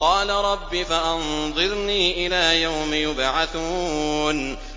قَالَ رَبِّ فَأَنظِرْنِي إِلَىٰ يَوْمِ يُبْعَثُونَ